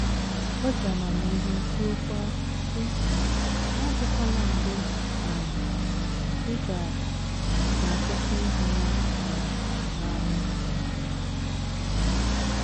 O ji amamihe kwuokwa, sị, “ Ya adịkwala mgbe um ị ga ga - akwụsị ịhụ ya um n’anya. ”